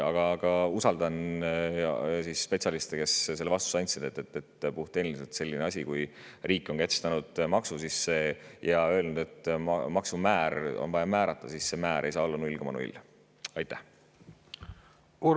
Aga ma usaldan spetsialiste, kes andsid selle vastuse, et kui riik on kehtestanud maksu ja öelnud, et maksumäär on vaja määrata, siis puhttehniliselt ei saa see määr olla 0,0.